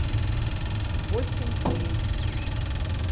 восемь дней